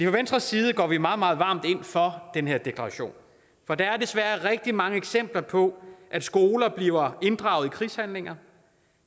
venstres side går vi meget meget varmt ind for den her deklaration for der er desværre rigtig mange eksempler på at skoler bliver inddraget i krigshandlinger